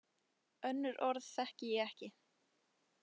Önnur orð þekki ég ekki.